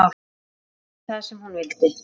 Segja það sem hún vildi.